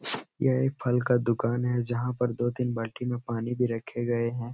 यह एक फल का दुकान हैं। जहाँ पर दो तीन बाल्टी में पानी भी रखे गए हैं।